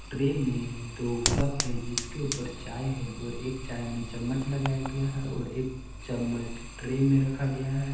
Tray में दो cup है जिसके उपर चाय है और एक चाय में चम्मच लगाया गया है और एक चम्मच ट्रे में रखा गया है।